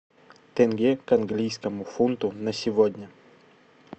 тенге к английскому фунту на сегодня